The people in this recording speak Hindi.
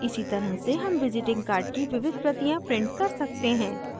इसी तरह से हम visiting card की विविध प्रतियाँ print कर सकते हैं